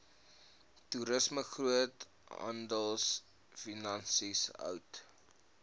toerisme groothandelfinansies hout